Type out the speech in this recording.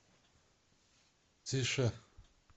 тише